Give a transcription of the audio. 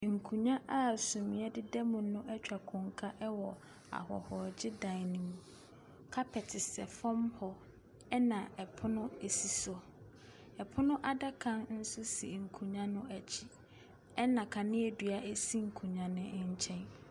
Nkonnwa a sumiiɛ deda mu no atwa konka ɛwɔ ahɔhogyedan no mu. Kapɛt sɛ dam hɔ na ɛpono si so. Ɛpono adaka nso si nkonnwa no akyi. Ɛna kaneadua si nkonnwa no nkyɛn.